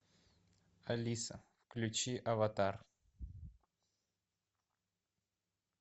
алиса включи аватар